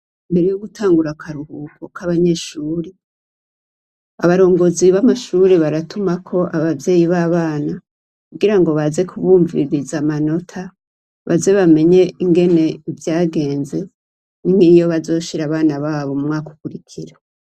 Imbere yo gutangura akaruhuko k'abanyeshure, abarongozi b'amashure baratumako abavyeyi b'abana kugira ngo baze kubumviririza amanota, baze bamenye ingene vyagenze n'iyo bazoshira abana babo mu mwaka ukurikira.